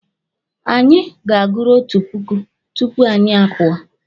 Anyị ga-aguru otu puku tupu anyị apụọ.